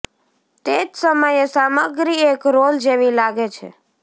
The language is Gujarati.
તે જ સમયે સામગ્રી એક રોલ જેવી લાગે છે